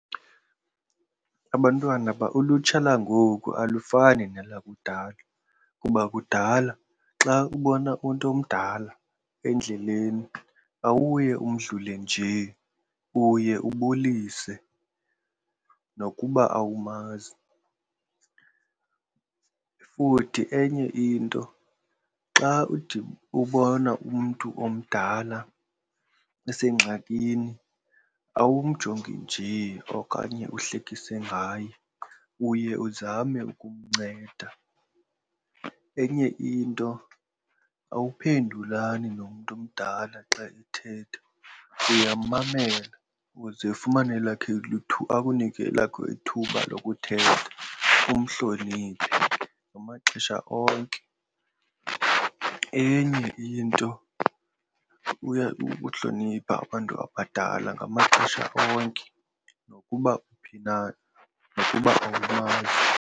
Abantwana ulutsha langoku alifani nelakudala kuba kudala xa ubona umntu omdala endleleni awuye umdlule nje, uye ubulise nokuba awumazi. Futhi enye into xa ubona umntu omdala esengxakini awumjonga nje okanye uhlekise ngaye, uye uzame ukumnceda. Enye into awuphendulani nomntu omdala xa ethetha, uyamammela uze ufumane elakho akunike elakho ithuba lokuthetha umhloniphe ngamaxesha onke. Enye into kukuhlonipha abantu abadala ngamaxesha onke nokuba uphi na nokuba awumazi.